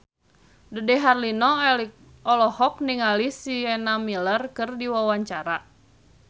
Dude Herlino olohok ningali Sienna Miller keur diwawancara